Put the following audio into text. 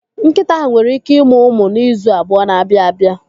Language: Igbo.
Nkịta ahụ nwere ike ịmụ ụmụ n'izu abụọ na-abịa abịa.